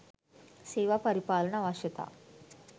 "සේවා පරිපාලන අවශ්‍යතා"